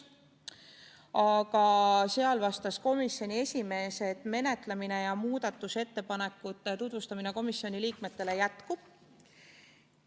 Aga sellele vastas komisjoni esimees, et selle eelnõu menetlemine ja muudatusettepanekute tutvustamine komisjoni liikmetele jätkub.